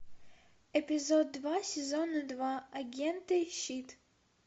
эпизод два сезона два агенты щит